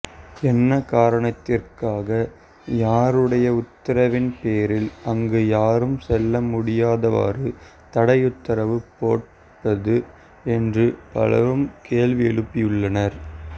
என்ன காரணத்திற்காக யாருடைய உத்தரவின் பேரில் அங்கு யாரும் செல்ல முடியாதவாறு தடையுத்தரவு போடப்பட்டது என்று பலரும் கேள்வி எழுப்பியுள்ளனர்